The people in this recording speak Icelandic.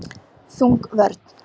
Þung vörn.